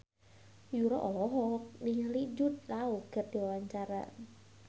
Yura olohok ningali Jude Law keur diwawancara